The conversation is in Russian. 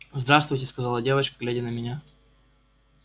здравствуйте сказала девочка глядя на меня